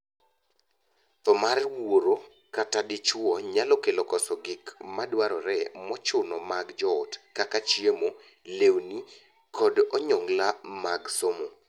Thoo mar wuoro kata dichwo nyalo kelo koso gik madwarore mochuno mag joot kaka chiemo, lewni, kod onyongla mag somo.